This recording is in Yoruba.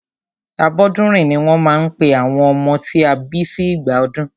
Abọ́dúnrìn ní wọ́n máa ń pe àwọn ọmọ tí a bí sí ìgbà ọdún.